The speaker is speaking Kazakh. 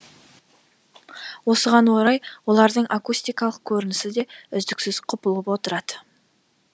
осыған орай олардың акустикалық көрінісі де үздіксіз құбылып отырады